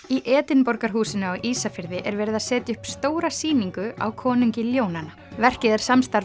í Edinborgarhúsinu á Ísafirði er verið að setja upp stóra sýningu á konungi ljónanna verkið er samstarf